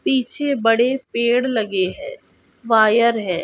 पीछे बड़े पेड़ लगे है वायर हैं।